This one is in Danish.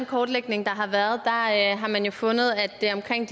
kortlægning der har været har man jo fundet at det er omkring